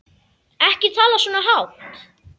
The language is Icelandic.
Ekki tala svona hátt.